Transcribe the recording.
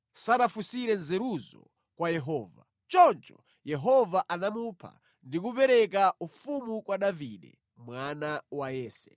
sanafunsire nzeruzo kwa Yehova. Choncho Yehova anamupha ndi kupereka ufumu kwa Davide mwana wa Yese.